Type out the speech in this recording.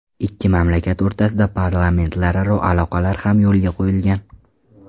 Ikki mamlakat o‘rtasida parlamentlararo aloqalar ham yo‘lga qo‘yilgan.